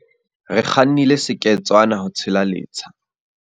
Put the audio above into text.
Re kgannile seketswana ho tshela letsha.